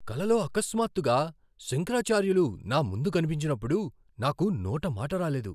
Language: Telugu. కలలో అకస్మాత్తుగా శంకరాచార్యులు నా ముందు కనిపించినప్పుడు నాకు నోట మాట రాలేదు.